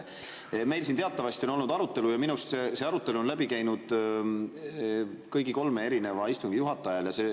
Meil siin teatavasti on olnud arutelu ja minu arust see arutelu on läbi käinud kõigi kolme istungi juhataja ajal.